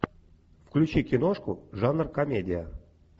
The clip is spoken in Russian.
включи киношку жанр комедия